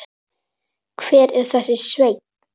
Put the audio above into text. Hver er þessi Sveinn?